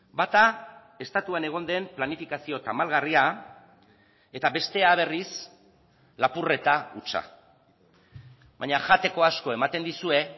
bata estatuan egon den planifikazio tamalgarria eta bestea berriz lapurreta hutsa baina jateko asko ematen dizue